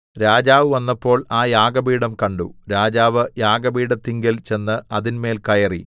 രാജാവ് വന്നപ്പോൾ ആ യാഗപീഠം കണ്ടു രാജാവ് യാഗപീഠത്തിങ്കൽ ചെന്ന് അതിന്മേൽ കയറി